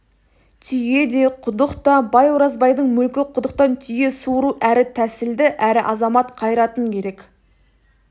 түйе де құдық та бай оразбайдың мүлкі құдықтан түйе суыру әрі тәсілді әрі азамат қайратын керек